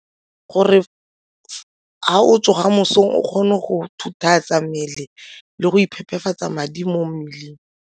Gore ga o tsoga mosong o kgone go mmele le go iphepafatsa madi mo mmeleng.